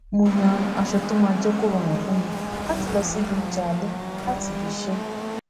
mo yan aṣọ tó máa jé kó rọrùn fún mi láti lọ síbi oúnjẹ alẹ láti ibi iṣẹ